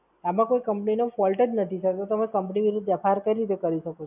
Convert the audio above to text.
આમાં કઈ Company નો Fault જ નથી Sir તો તમે Company વિરુદ્ધ FIR કરી રીતે કરી શકો Sir